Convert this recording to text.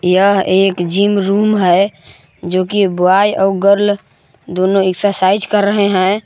यह एक gym room है जो की बॉय और गर्ल दोनों एक्सरसाइज कर रहे हैं।